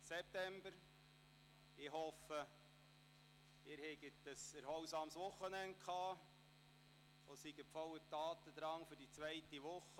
Ich hoffe, dass Sie ein erholsames Wochenende hatten und wieder voller Tatendrang für die zweite Woche sind.